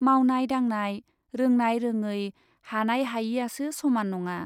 मावनाय दांनाय , रोंनाय रोङै हानाय हायैआसो समान नङा ।